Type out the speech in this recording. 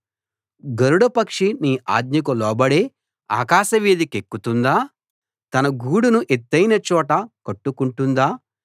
గరుడ పక్షి నీ ఆజ్ఞకు లోబడే ఆకాశవీధి కెక్కుతుందా తన గూడును ఎత్తయిన చోట కట్టుకుంటుందా